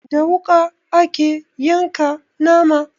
Da wuƙa ake yanka nama